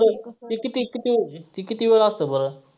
ते किती किती ते किती वेळ असतं बरं.